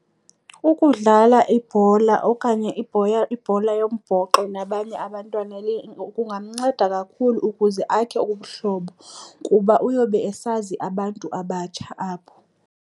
Ukudlala ibhola okanye ibhola yombhoxo nabanye abantwana kungamnceda kakhulu ukuze akhe ubuhlobo kuba uyobe esazi abantu abatsha apho.